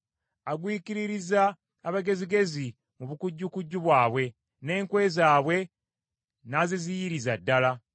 Agwikiririza abagezigezi mu bukujjukujju bwabwe, n’enkwe zaabwe n’aziziyiriza ddala.